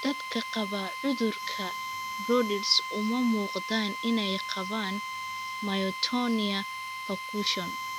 Dadka qaba cudurka Brodys uma muuqdaan inay qabaan myotonia percussion.